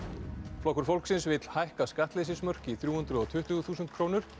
flokkur fólksins vill hækka skattleysismörk í þrjú hundruð og tuttugu þúsund krónur